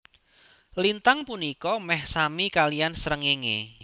Lintang punika meh sami kaliyan srengenge